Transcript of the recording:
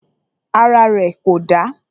Ara rẹ̀ kò dà.